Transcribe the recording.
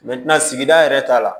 sigida yɛrɛ ta la